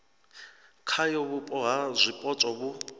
khayo vhupo ha zwipotso vhu